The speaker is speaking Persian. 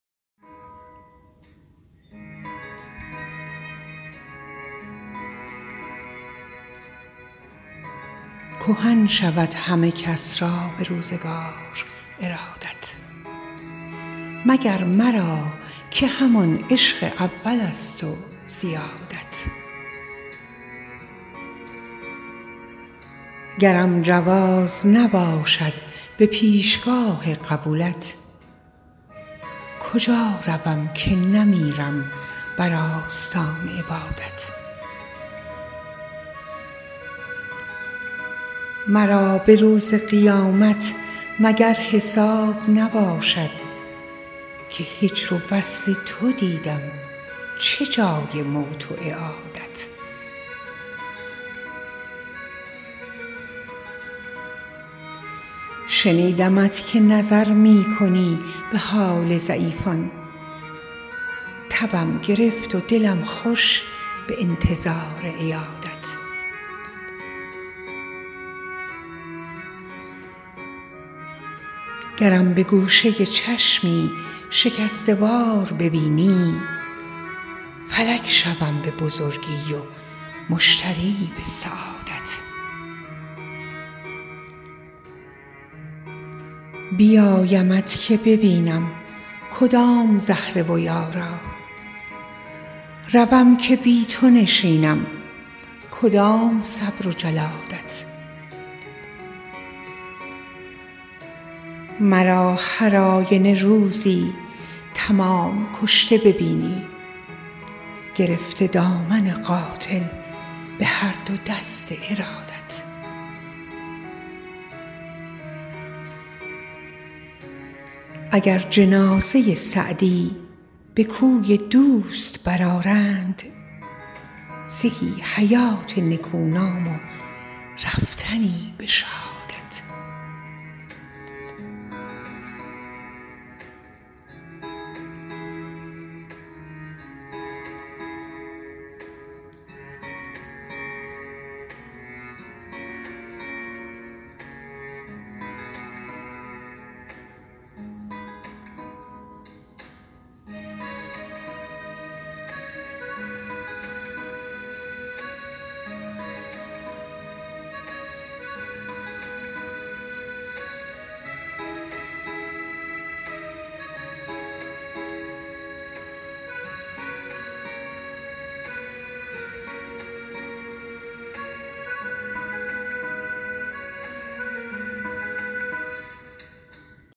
کهن شود همه کس را به روزگار ارادت مگر مرا که همان عشق اولست و زیادت گرم جواز نباشد به پیشگاه قبولت کجا روم که نمیرم بر آستان عبادت مرا به روز قیامت مگر حساب نباشد که هجر و وصل تو دیدم چه جای موت و اعادت شنیدمت که نظر می کنی به حال ضعیفان تبم گرفت و دلم خوش به انتظار عیادت گرم به گوشه چشمی شکسته وار ببینی فلک شوم به بزرگی و مشتری به سعادت بیایمت که ببینم کدام زهره و یارا روم که بی تو نشینم کدام صبر و جلادت مرا هر آینه روزی تمام کشته ببینی گرفته دامن قاتل به هر دو دست ارادت اگر جنازه سعدی به کوی دوست برآرند زهی حیات نکونام و رفتنی به شهادت